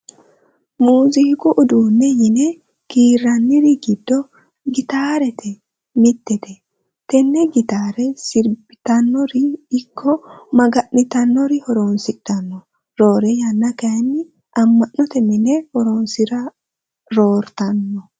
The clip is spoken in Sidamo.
Muuzuqu uduunne yine kiirraniri giddo gitaare mittete. Tenne gitaare sirbitannori ikko maga'nitanori horonsidhanno. Roore yanna kayii ama'note mine horonsira roortanno.